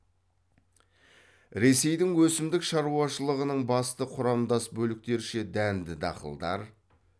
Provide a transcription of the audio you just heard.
ресейдің өсімдік шаруашылығының басты құрамдас бөліктерше дәнді дақылдар